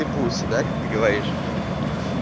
и пуси да как ты говоришь